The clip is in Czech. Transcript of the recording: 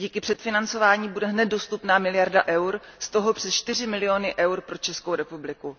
Díky předfinancování bude hned dostupná miliarda EUR, z toho přes 4 miliony EUR pro Českou republiku.